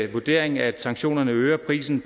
vurdering at sanktionerne øger prisen